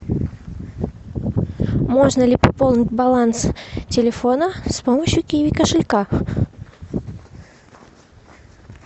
можно ли пополнить баланс телефона с помощью киви кошелька